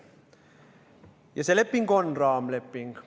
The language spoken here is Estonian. Ja see leping on raamleping.